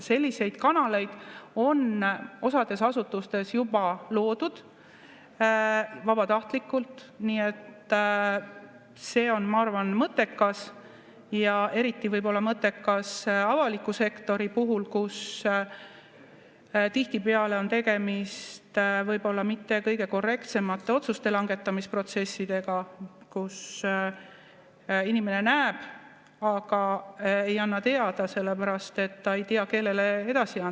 Selliseid kanaleid on osas asutustes juba loodud vabatahtlikult, nii et see on, ma arvan, mõttekas ja eriti mõttekas võib-olla avaliku sektori puhul, kus tihtipeale on tegemist mitte kõige korrektsemate otsuste langetamise protsessidega, kus inimene näeb, aga ei anna teada, sellepärast et ta ei tea, kellele edasi anda.